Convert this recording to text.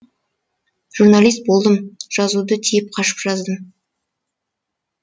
журналист болдым жазуды тиіп қашып жаздым